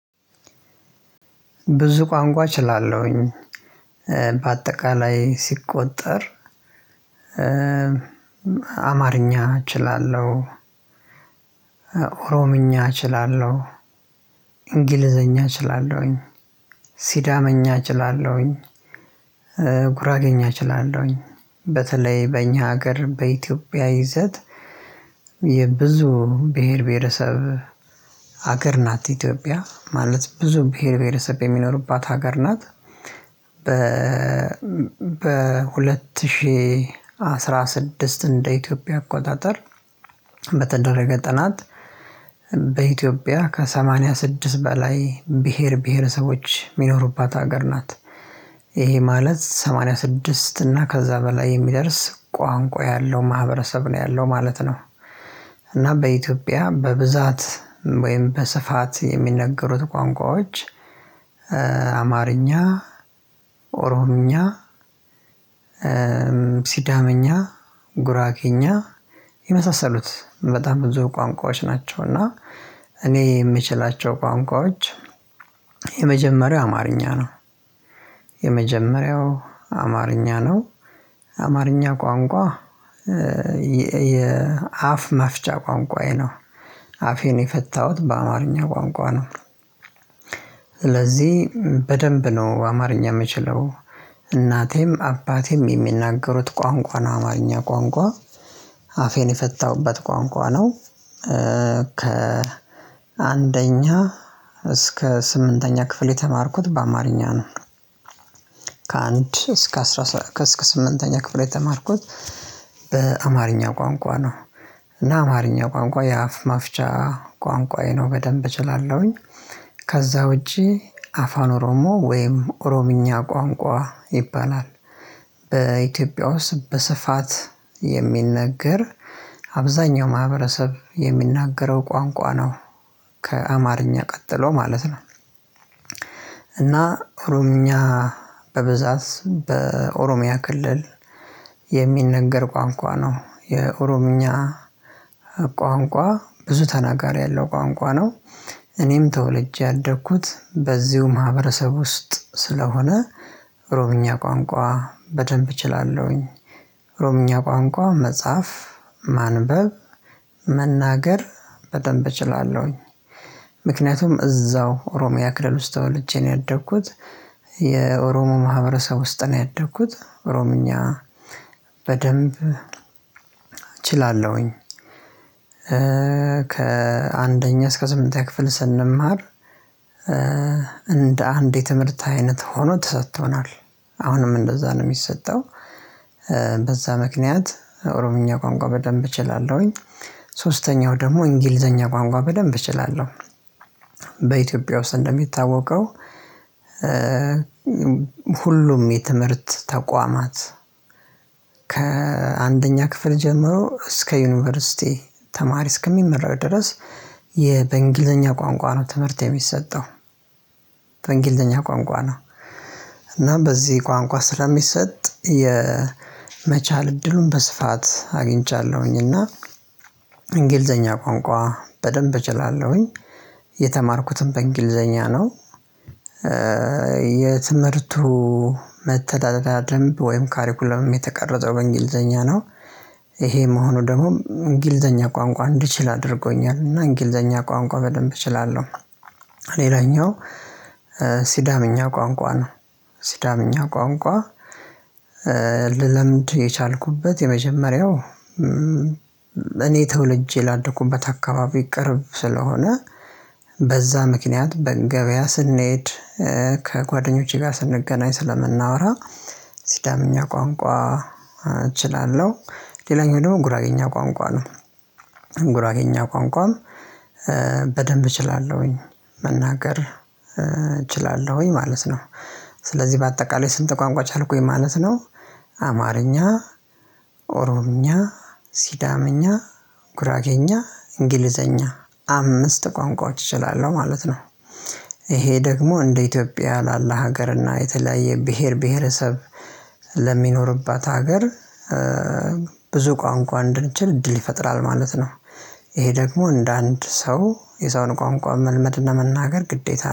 ብዙ ቋንቋ እችላለሁኝ። በአጠቃላይ ሲቆጠር። አማርኛ እችላለሁ። ኦሮምኛ እችላለሁ። እንግሊዘኛ እችላለሁኝ። ሲዳምኛ እችላለሁኝ። ጉራጌኝ አችላለሁኝ። በተለይ በእኛ ሀገር በኢትዮጵያ ይዘት። የብዙ ብሄር ብሄረሰብ ሀገር ናት ኢትዮጵያ ማለት ብዙ ብሄር ብሄርሰብ የሚኖርባት ሀገር ናት። በሁለት ሺህ አስራ ስድስት እንደ ኢትዮጵያ አቆጣጠር በተደረገ ጥናት። በኢትዮጵያ ከሰማንያ ስድስት በላይ ብሄር ብሄረሰቦች የሚኖሩባት ሀገር ናት። ይሄ ማለት ሰማንያ ስድስት እና ከዛ በላይ የሚደርስ ቋንቋ ያለው ማህበረሰብ ነው ያለው ማለት ነው። እናም በኢትዮጵያ በብዛት ወይም በስፋት የሚነገሩት ቋንቋዎች አማርኛ ኦሮምኛ ሲዳመኛ ጉራጌኛ የመሳሰሉት በጣም ብዙ ቋንቋዎች ናቸው። እና እኔ የምችላቸው ቋንቋዎች የመጀመሪያው አማርኛ ነው። የመጀመሪያው አማርኛ ነው አማርኛ ቋንቋ የአፍ መፍቻ ቋንቋዬ ነው። አፌን የፈታሁት በአማርኛ ቋንቋ ነው። ስለዚህ በደንብ ነው አማርኛ የምችለው። እናቴም አባቴም የሚናገሩት ቋንቋ ነው አማርኛ ቋንቋ አፌን የፈታሁበት ቋንቋ ነው። ከአንደኛ እስከ ስምንተኛ ክፍል የተማርኩት በአማርኛ ነው። ከአንድ እስከ ስምንተኛ ክፍል የተማርኩት በአማርኛ ቋንቋ ነው። እና አማርኛ ቋንቋ የአፍ መፍቻ ቋንቋዬ ነው በደንብ እችላለሁኝ። ከዛ ውጪ አፋን ኦሮሞ ወይም ኦሮምኛ ቋንቋ ይባላል። በኢትዮጵያ ውስጥ በስፋት የሚነገር አብዛኛው ማህበረሰብ የሚናገረው ቋንቋ ነው። ከአማርኛ ቀጥሎ ማለት ነው። እና ኦሮምኛ በብዛት በኦሮሚያ ክልል የሚነገር ቋንቋ ነው የኦሮምኛ ቋንቋ ብዙ ተናጋሪ ያለው ቋንቋ ነው። እኔም ተወልጄ ያደግኩት በዚሁ ማህበረሰብ ውስጥ ስለሆነ ኦሮምኛ ቋንቋ በደንብ እችላለሁኝ። ኦሮምኛ ቋንቋ መጽሐፍ ማንበብ መናገር በደንብ እችላለሁኝ። ምክንያቱም እዛው ኦሮሚያ ክልል ውስጥ ተወልጄ ነው ያደኩት። የኦሮሞ ማህበረሰብ ውስጥ ነው ያደግኩት ኦሮምኛ በደንብ እችላለሁኝ። ከአንደኛ እስከ ስምንተኛ ክፍል ስንማር እንደ አንድ የትምህርት አይነት ሆኖ ተሰጥቶናል አሁንም እንደዛ ነው የሚሰጠው። በዛ ምክንያት ኦሮምኛ ቋንቋ በደንብ እችላለሁኝ ሶስተኛው ደግሞ እንግሊዘኛ ቋንቋ በደንብ እችላለሁ። በኢትዮጵያ ውስጥ እንደሚታወቀው ሁሉም የትምህርት ተቋማት ከአንደኛ ክፍል ጀምሮ እስከ ዩኒቨርሲቲ ተማሪ እስከሚመረቅ ድረስ በእንግሊዘኛ ቋንቋ ነው ትምህርት የሚሰጠው። በእንግሊዘኛ ቋንቋ ነው። እናም በዚህ ቋንቋ ስለሚሰጥ የመቻል እድሉን በስፋት አግኝቻለሁኝ እና እንግሊዘኛ ቋንቋ በደንብ እችላለሁኝ። የተማርኩትም በእንግሊዘኛ ነው። የትምህርቱ መተዳደሪያ ደንብ ወይም ካሪኩለምም የተቀረጸው እንግሊዘኛ ነው። ይሄ መሆኑ ደግሞ እንግሊዘኛ ቋንቋ እንዲችል አድርጎኛል እና እንግሊዘኛ ቋንቋ በደንብ እችላለሁ። ሌላኛው ሲዳመኛ ቋንቋ ነው። ሲዳመኛ ቋንቋ ልለምድ የቻልኩበት የመጀመሪያው እኔ ተውልጄ ላደኩበት አካባቢ ይቅርብ ስለሆነ በዛ ምክንያት በገበያ ስንሄድ ከጓደኞቼ ጋር ስንገናኝ ስለምናወራ ሲዳምኛ ቋንቋ እችላለሁ። ሌላኛው ደግሞ ጉራጌኛ ቋንቋ ነው። ጉራጌኛ ቋንቋም በደንብ እችላለሁኝ መናገር እችላለሁኝ ማለት ነው። ስለዚህ በአጠቃላይ ስንት ቋንቋ ቻልኩኝ ማለት ነው? አማርኛ ኦሮምኛ ሲዳምኛ ጉራጌኛ እንግሊዘኛ አምስት ቋንቋዎች እችላለሁ ማለት ነው። ይሄ ደግሞ እንደ ኢትዮጵያ ላለ ሀገር እና የተለያየ ብሄር ብሄረሰብ ለሚኖርባት ሀገር ብዙ ቋንቋ እንድንችል እድል ይፈጥራል ማለት ነው። ይሄ ደግሞ እንደ አንድ ሰው የሰውን ቋንቋ መልመድ እና መናገር ግዴታ